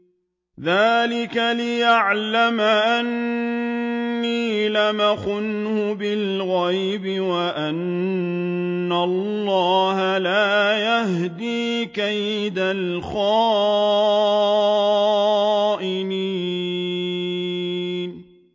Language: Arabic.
ذَٰلِكَ لِيَعْلَمَ أَنِّي لَمْ أَخُنْهُ بِالْغَيْبِ وَأَنَّ اللَّهَ لَا يَهْدِي كَيْدَ الْخَائِنِينَ